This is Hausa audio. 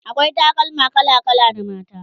akwai takalma kala kala na mata